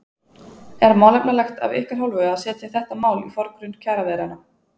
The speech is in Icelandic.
Er málefnalegt af ykkar hálfu að setja þetta mál í forgrunn kjaraviðræðna?